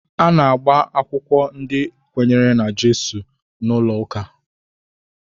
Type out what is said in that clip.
A na-agba akwụkwọ ndị kwenyere na Jizọs n'ụlọ ụka